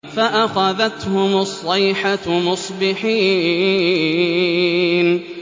فَأَخَذَتْهُمُ الصَّيْحَةُ مُصْبِحِينَ